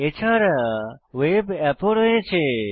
এছাড়া web app node ও রয়েছে